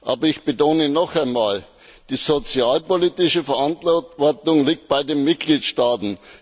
Aber ich betone noch einmal Die sozialpolitische Verantwortung liegt bei den Mitgliedstaaten.